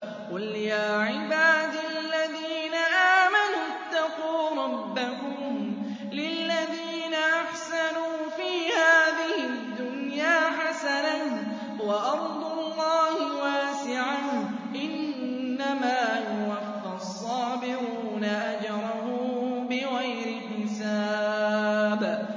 قُلْ يَا عِبَادِ الَّذِينَ آمَنُوا اتَّقُوا رَبَّكُمْ ۚ لِلَّذِينَ أَحْسَنُوا فِي هَٰذِهِ الدُّنْيَا حَسَنَةٌ ۗ وَأَرْضُ اللَّهِ وَاسِعَةٌ ۗ إِنَّمَا يُوَفَّى الصَّابِرُونَ أَجْرَهُم بِغَيْرِ حِسَابٍ